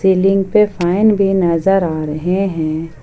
Ceiling पे fan भी नजर आ रहे हैं।